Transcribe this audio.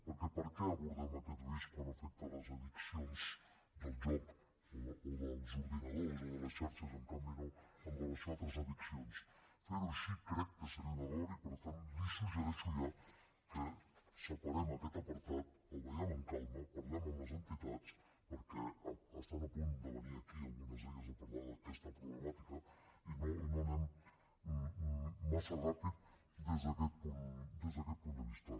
perquè per què abordem aquest risc quan afecta les addiccions del joc o dels ordinadors o de les xarxes i en canvi no amb relació a altres addiccions fer ho així crec que seria un error i per tant li suggereixo ja que separem aquest apartat el vegem amb calma parlem amb les entitats perquè estan a punt de venir aquí algunes d’elles a parlar d’aquesta problemàtica i no anem massa ràpid des d’aquest punt de vista